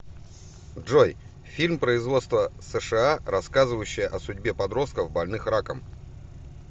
джой фильм производства сша рассказывающая о судьбе подростков больных раком